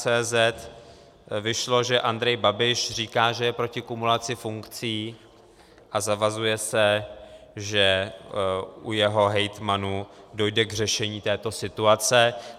cz vyšlo, že Andrej Babiš říká, že je proti kumulaci funkcí, a zavazuje se, že u jeho hejtmanů dojde k řešení této situace.